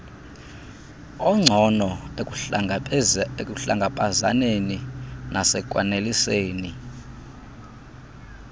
ongcono ekuhlangabezaneni nasekwaneliseni